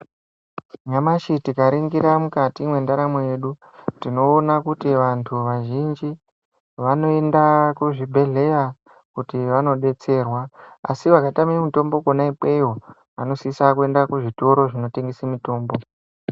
Nyamashi tikaringira mukati mwendaramo yedu, tinoona kuti vantu vazhinji, vanoenda kuzvibhedhleya kuti vanodetserwa, asi vakatame mitombo kwona ikweyo, vanosisa kuenda kuzvitoro zvinotengese mitombo.